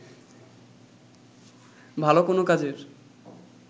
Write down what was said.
ভাল কোন কাজের